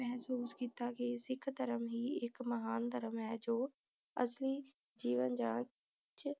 ਮਹਿਸੂਸ ਕੀਤਾ ਕੇ ਸਿੱਖ ਧਰਮ ਹੀ ਇਕ ਮਹਾਨ ਧਰਮ ਹੈ ਜੋ ਅਸਲੀ ਜੀਵਨ ਜਾਂਚ